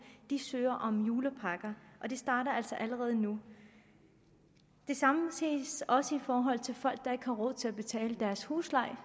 de søger om julepakker og det starter altså allerede nu det samme ses også i forhold til folk der ikke har råd til at betale deres husleje